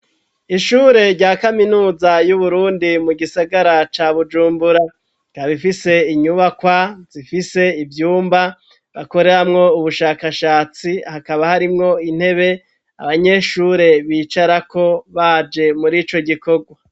Ishure rya kaminuza y'uburundi mu gisagara ca bujumbura, kabifise inyubakwa ,zifise ivyumba ,bakoreramwo ubushakashatsi, hakaba harimwo intebe abanyeshure bicara ko baje muri ico gikogwa.